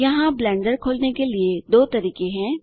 यहाँ ब्लेंडर खोलने के लिए दो तरीके हैं